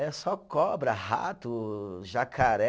É só cobra, rato, jacaré.